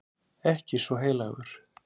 Ekki svo heilagur.